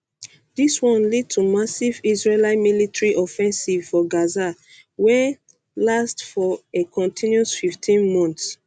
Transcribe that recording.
dis one lead to massive israeli military offensive for gaza wey wey last for a continuous 15 months